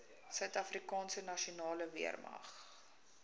suidafrikaanse nasionale weermag